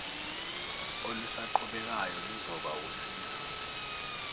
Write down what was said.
olusaqhubekayo luzoba wusizo